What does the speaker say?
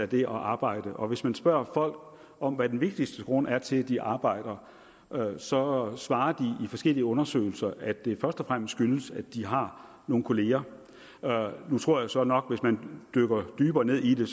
det at arbejde og hvis man spørger folk om hvad den vigtigste grund er til at de arbejder så svarer de i forskellige undersøgelser at det først og fremmest skyldes at de har nogle kollegaer nu tror jeg så nok at hvis man dykker dybere ned i det